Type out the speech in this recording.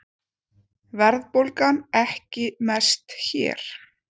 Verðbólgan ekki mest hér